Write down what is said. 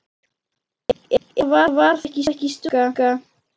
Eða var það ekki stúlka?